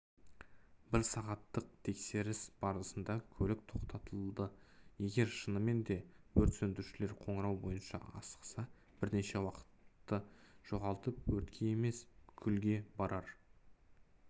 бір сағаттық тексеріс барысында көлік тоқтатылды егер шынымен де өрт сөндірушілер қоңырау бойынша асықса бірнеше уақытты жоғалтып өртке емес күлге барар